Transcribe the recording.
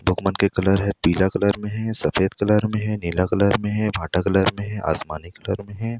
Book मन के colour ह पीला कलर म हे सफ़ेद कलर म हे नीला कलर म हे भाटा कलर म हे आसमानी कलर म हे।